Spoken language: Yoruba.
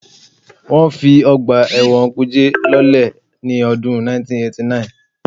Wọ́n fi ọgbà ẹ̀wọ̀n kùjé lọ́lẹ̀ ní ọdún 1989